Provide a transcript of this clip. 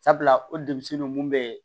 Sabula o denmisɛn ninnu mun bɛ